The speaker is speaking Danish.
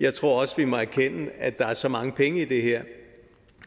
jeg tror også at vi må erkende at der er så mange penge i det her